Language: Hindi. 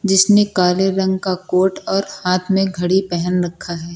जिसने काले रंग का कोट और हाथ में घड़ी पेहन रखा है।